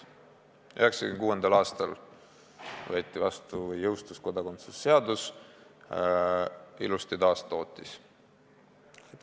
1996. aastal võeti vastu ja jõustus kodakondsuse seadus, mis ilusti taastootis seda.